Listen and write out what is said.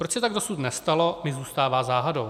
Proč se tak dosud nestalo, mi zůstává záhadou.